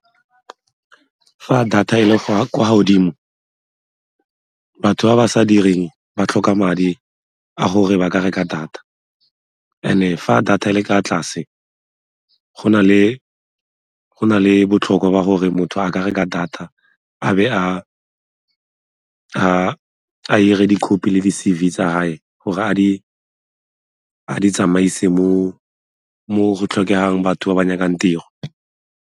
Fa data e le kwa godimo batho ba ba sa direng ba tlhoka madi a gore ba ka reka data and-e fa data e le kwa tlase go na le botlhokwa ba gore motho a ka reka data a be a 'ire di-copy le di-C_V tsa gae gore a di tsamaise mo go tlhokegang batho ba ba nyakang tiro.